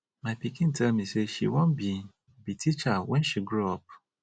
my pikin tell me say she wan be be teacher wen she grow up